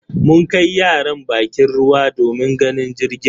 Mun kai yaran bakin ruwa domin ganin jirgin.